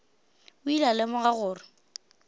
o ile a lemoga gore